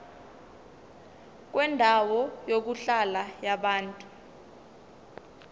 kwendawo yokuhlala yabantu